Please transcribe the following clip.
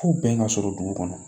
Fo bɛn ka sɔrɔ dugu kɔnɔ